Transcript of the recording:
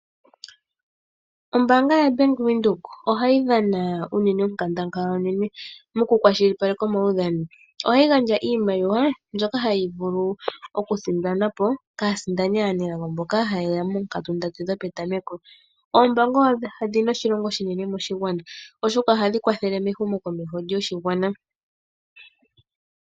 Ombaanga yobank Windhoek ohayi dhana onkandangala mokukwashilipaleka omaudhano. Ohayi gandja iimaliwa mbyoka hayi vulu oku sindanwa kaasindani aanelago mboka ha yeya moonkatu ndatu dhopetameko. Oombaanga odhina oshilonga oshinene moshigwana, oshoka ohadhi kwathele mehumo komeho lyoshigwana.